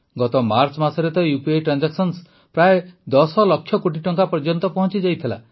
ଗତ ମାର୍ଚ୍ଚ ମାସରେ ତ ଉପି ଟ୍ରାନଜାକ୍ସନ ତ ପ୍ରାୟ ୧୦ ଲକ୍ଷ କୋଟି ଟଙ୍କା ପର୍ଯ୍ୟନ୍ତ ପହଂଚିଯାଇଥିଲା